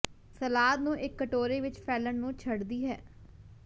salad ਨੂੰ ਇੱਕ ਕਟੋਰੇ ਵਿੱਚ ਫੈਲਣ ਨੂੰ ਛੱਡਦੀ ਹੈ